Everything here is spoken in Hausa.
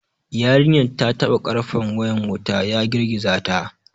Yarinyar ta taɓa karfen wayan wuta, ya girgiza ta.